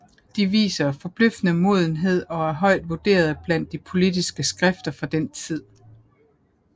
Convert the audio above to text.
De viser forbløffende modenhed og er højt vurderet blandt de politiske skrifter fra den tid